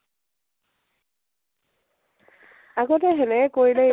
আগতে হেনেকে কৰিলেও